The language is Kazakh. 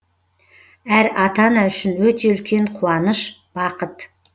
әр ата ана үшін өте үлкен қуаныш бақыт